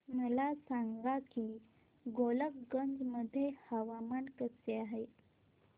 मला सांगा की गोलकगंज मध्ये हवामान कसे आहे